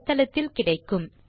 தமிழாக்கம் கடலூர் திவா